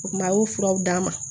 O kuma a y'o furaw d'a ma